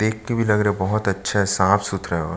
देख के भी लग रहा है बहोत अच्छा साफ-सुथरा है और --